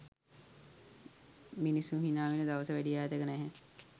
මිනිස්සු හිනාවෙන දවස වැඩි ඈතක නැහැ.